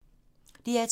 DR2